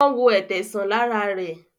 Wón wọ Ẹ̀tẹ sàn lára re.